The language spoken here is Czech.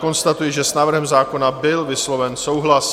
Konstatuji, že s návrhem zákona byl vysloven souhlas.